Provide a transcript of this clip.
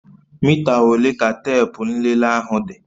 Mita ole ka teepu nlele ahụ dị?